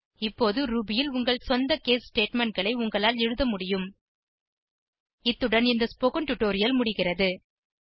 இப்போது ரூபி ல் உங்கள் சொந்த case statementகளை உங்களால் எழுத முடியும் இத்துடன் இந்த ஸ்போகன் டுடோரியல் முடிகிறது